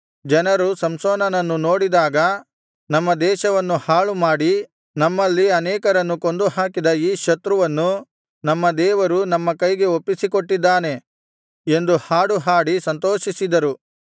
ಜನರು ಸಂಸೋನನನ್ನು ನೋಡಿದಾಗ ನಮ್ಮ ದೇಶವನ್ನು ಹಾಳುಮಾಡಿ ನಮ್ಮಲ್ಲಿ ಅನೇಕರನ್ನು ಕೊಂದುಹಾಕಿದ ಈ ಶತ್ರುವನ್ನು ನಮ್ಮ ದೇವರು ನಮ್ಮ ಕೈಗೆ ಒಪ್ಪಿಸಿಕೊಟ್ಟಿದ್ದಾನೆ ಎಂದು ಹಾಡು ಹಾಡಿ ಸಂತೋಷಿಸಿದರು